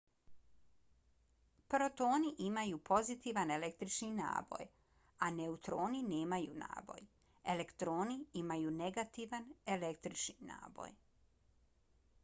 protoni imaju pozitivan električni naboj a neutroni nemaju naboj. elektroni imaju negativan električni naboj